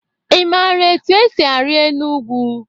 Ị mara etu esi ari enu ugwu?